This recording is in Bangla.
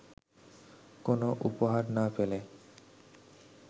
কোনো উপহার না পেলে